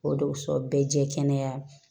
O de sɔn bɛɛ jɛ kɛnɛ